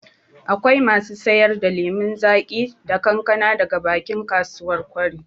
Akwai masu sayar da lemon zaƙi da kankana daga bakin kasuwar kwari